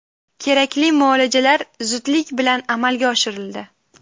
Kerakli muolajalar zudlik bilan amalga oshirildi.